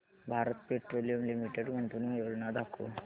Bharat Petroleum Limited गुंतवणूक योजना दाखव